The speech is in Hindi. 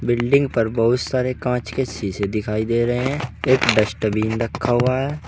बिल्डिंग पर बहुत सारे कांच के शीशे दिखाई दे रहे हैं एक डस्टबिन रखा हुआ है।